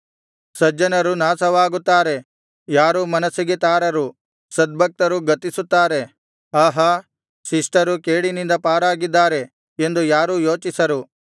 ಸಜ್ಜನರು ನಾಶವಾಗುತ್ತಾರೆ ಯಾರೂ ಮನಸ್ಸಿಗೆ ತಾರರು ಸದ್ಭಕ್ತರು ಗತಿಸುತ್ತಾರೆ ಆಹಾ ಶಿಷ್ಟರು ಕೇಡಿನಿಂದ ಪಾರಾಗಿದ್ದಾರೆ ಎಂದು ಯಾರೂ ಯೋಚಿಸರು